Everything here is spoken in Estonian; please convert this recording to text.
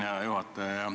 Hea juhataja!